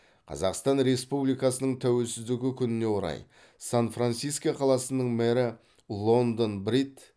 қазақстан республикасының тәуелсіздігі күніне орай сан франциско қаласының мэрі лондон брид